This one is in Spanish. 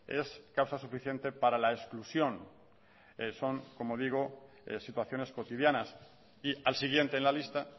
es causa suficiente para la exclusión son como digo situaciones cotidianas y al siguiente en la lista